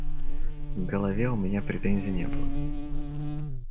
к голове у меня претензий не было